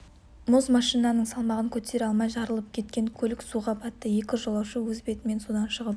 мұз машинаның салмағын көтере алмай жарылып кеткен көлік суға батты екі жолаушы өз бетімен судан шығып